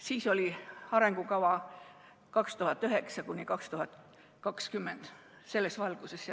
Siis oli arengukava aastateks 2009–2020, see toimus selles valguses.